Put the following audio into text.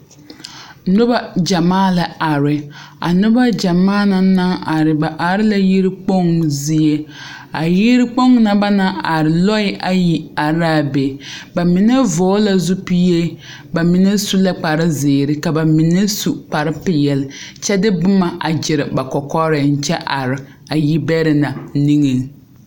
Noba gyamaa la are a noba gyamaa na naŋ are ba are la yikponzie a yikpoŋ na ba naŋ are loɛ ayi are la a be ba mine vɔgle la zupile ka ba mine su la kparre zeere ka ba mine su kparre peɛle kyɛ de boma gyere ba kɔkɔreŋ a kyɛ are a yibɛrɛŋ na niŋe.